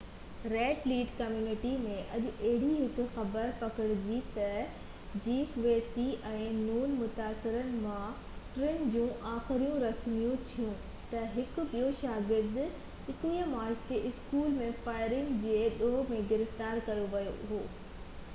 red Lake community ۾ اڄ اهڙي هڪ خبر پکڙجي تہ جيف ويسي ۽ نون متاثرن مان ٽن جون آخري رسمون ٿيون تہ هڪ ٻيو شاگرد 21 مارچ تي اسڪول ۾ فائرنگ جي ڏوه ۾ گرفتار ڪيو ويو هو